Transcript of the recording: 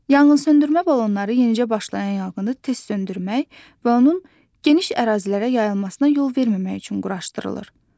Yanğınsöndürmə balonları yenicə başlayan yanğını tez söndürmək və onun geniş ərazilərə yayılmasına yol verməmək üçün quraşdırılır.